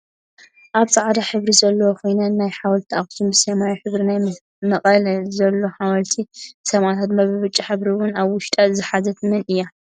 ኣብ ፃዕዳ ሕብሪ ዘለዎ ኮይና ናይ ሓወልቲ ኣክሱም ብሰማያዊ ሕብሪ ናይ መቀለ ዘሎ ሓወልቲ ሰማእታትን ድማ ብብጫ ሕብሪ እውን ኣብ ውሽጣ ዝሓዘት መን እያ?